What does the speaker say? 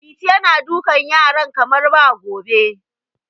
Liti yana dukan yaran kamar ba gobe.